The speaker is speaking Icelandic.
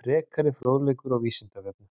Frekari fróðleikur á Vísindavefnum: